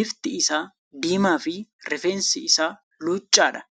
bifti isaa diimaa fi rifeensi isaa luuccaadha.